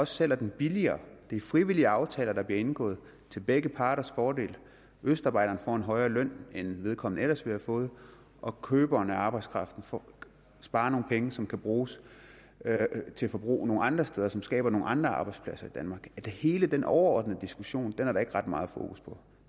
sælger den billigere det er frivillige aftaler der bliver indgået til begge parters fordel østarbejderen får en højere løn end vedkommende ellers ville have fået og køberen af arbejdskraft sparer nogle penge som kan bruges til forbrug nogle andre steder og som skaber nogle andre arbejdspladser i danmark hele den overordnede diskussion er der ikke ret meget fokus på